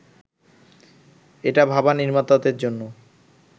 এটা ভাবা নির্মাতাদের জন্য